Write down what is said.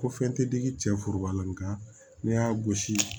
Ko fɛn tɛ digi cɛ furuba la nka n'i y'a gosi